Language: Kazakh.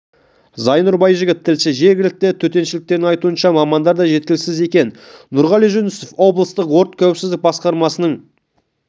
зайнұр байжігіт тілші жергілікті төтеншеліктердің айтуынша мамандар да жеткіліксіз екен нұрғали жүнісов облыстық өрт қауіпсіздігі басқармасының